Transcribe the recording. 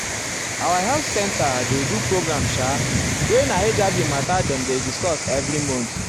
our health center center dey do program sha wey na hiv mata dem dey discuss every month.